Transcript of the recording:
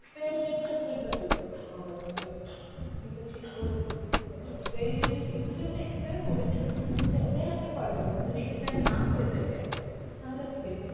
expiry date টা আপনি একবার দেখতে পারেন, হবে আপনাকে। আপনি যদি ঠিক করে দেখতে পারেন expiry date যদি, যদি ওটা expire করে যায় দে~ then আপনি পারবেন না যদি expire না, করে থাকে তাহলে আপনি definitely।